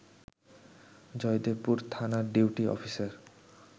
জয়দেবপুর থানার duty officer